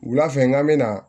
Wula fɛ n bɛ na